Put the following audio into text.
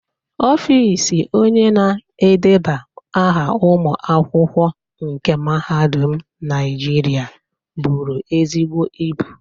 Ọfịs Onye na-edeba aha ụmụ akwụkwọ nke mahadum Naijiria buru ezigbo ibu.